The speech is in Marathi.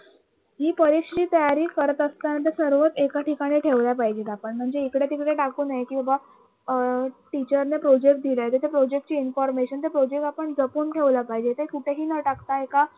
ही परीक्षेची तयारी करत असताना तर सर्वच एका ठिकाणी ठेवल्या पाहिजेत आपण म्हणजे इकडे तिकडे टाकू नये कि बाबा अं teacher ने project दिला आहे जसे project ची information तर project आपण जपून ठेवला पाहिजे ते कुठेही न टाकता